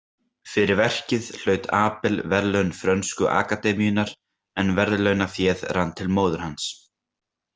Fyrir verkið hlaut Abel verðlaun frönsku akademíunnar, en verðlaunaféð rann til móður hans.